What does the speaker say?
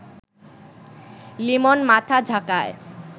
লিমন মাথা ঝাঁকায়